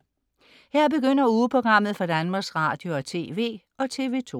Her begynder ugeprogrammet for Danmarks Radio- og TV og TV2